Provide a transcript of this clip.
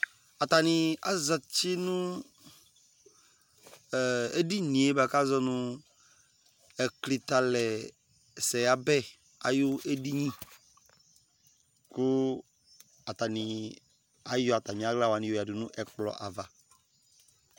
atani azati no edini yɛ k'azɔ no ɛklitɛ alɛ sɛ ɣa bɛ ayi edini kò atani ayɔ atami ala wani yo ya du n'ɛkplɔ ava